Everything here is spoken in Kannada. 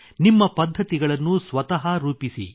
ನಿಮ್ಮ ಪದ್ಧತಿಗಳನ್ನು ಸ್ವತಃ ರೂಪಿಸಿ